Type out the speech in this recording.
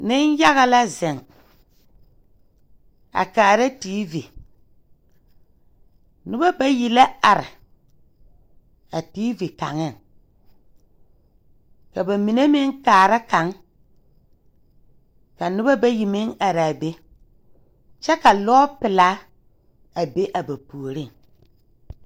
Neŋyaga la zeŋ a kaara teevi nobɔ bayi la are a teevi kaŋeŋ ka ba mine meŋ kaara kaŋ ka nobɔ bayi meŋ araa be kyɛvka lɔɔ pelaa a be a ba puoriŋ.